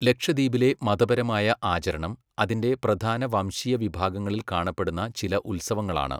ലക്ഷദ്വീപിലെ മതപരമായ ആചരണം അതിന്റെ പ്രധാന വംശീയ വിഭാഗങ്ങളിൽ കാണപ്പെടുന്ന ചില ഉത്സവങ്ങളാണ്.